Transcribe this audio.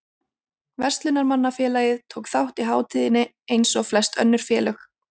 Verslunarmannafélagið tók þátt í hátíðinni eins og flest önnur félög.